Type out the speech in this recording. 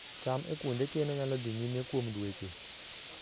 cham e kuonde keno nyalo dhi nyime kuom dweche